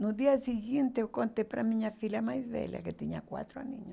No dia seguinte, eu contei para minha filha mais velha, que tinha quatro aninhos.